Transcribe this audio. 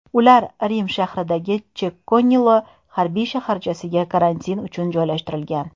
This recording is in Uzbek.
Ular Rim shahridagi Chekkin’ola harbiy shaharchasiga karantin uchun joylashtirilgan.